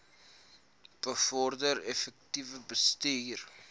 bevorder effektiewe bestuur